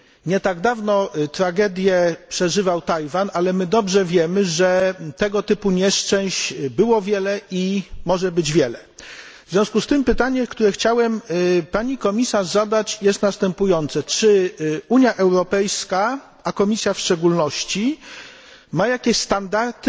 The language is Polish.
Nie tak dawno tragedię przeżywał Tajwan, ale dobrze wiemy, że tego typu nieszczęść było wiele i może być wiele. W związku z tym pytanie, które chciałem pani komisarz zadać jest następujące czy Unia Europejska, a Komisja w szczególności, ma jakieś standardy